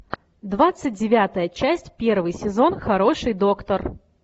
двадцать девятая часть первый сезон хороший доктор